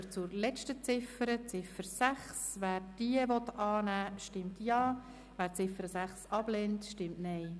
Wer die letzte Ziffer, die Ziffer 6, annehmen will, stimmt Ja, wer dies ablehnt, stimmt Nein.